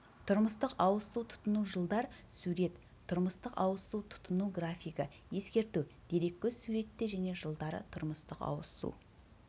тұрмыстық сауыз су тұтыну жылдар сурет тұрмыстық ауыз су тұтыну графигі ескерту дереккөз суретте және жылдары тұрмыстық ауыз